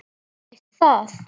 Einmitt það.